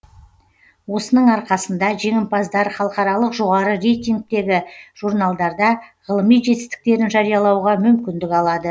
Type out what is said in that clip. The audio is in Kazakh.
осының арқасында жеңімпаздар халықаралық жоғары рейтингтегі журналдарда ғылыми жетістіктерін жариялауға мүмкіндік алады